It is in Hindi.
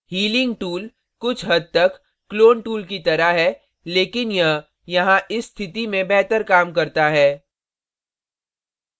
healing tool कुछ हद तक clone tool की तरह है लेकिन यह यहाँ इस स्थिति में बेहतर काम करता है